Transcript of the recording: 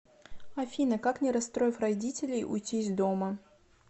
афина как не расстроив родителей уйти из дома